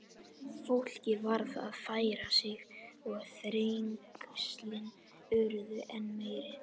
Fólkið varð að færa sig og þrengslin urðu enn meiri.